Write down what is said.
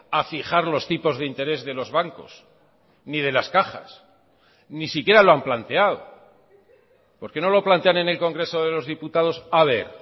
a fijar los tipos de interés de los bancos ni de las cajas ni siquiera lo han planteado por qué no lo plantean en el congreso de los diputados a ver